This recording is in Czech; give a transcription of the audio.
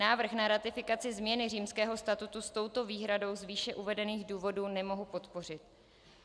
Návrh na ratifikaci změny Římského statutu s touto výhradou z výše uvedených důvodů nemohu podpořit.